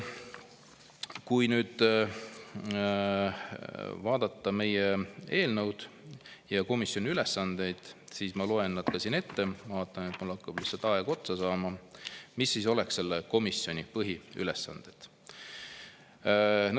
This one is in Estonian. Kui vaadata meie eelnõu ja komisjoni ülesandeid, siis ma loen siin ette, mul hakkab aeg otsa saama, mis siis oleks selle komisjoni põhiülesanded.